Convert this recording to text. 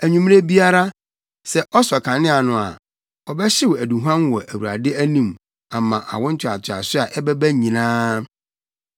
Anwummere biara, sɛ ɔsɔ kanea no a, ɔbɛhyew aduhuam wɔ Awurade anim ama awo ntoatoaso a ɛbɛba nyinaa.